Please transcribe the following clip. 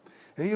Või ei olnud?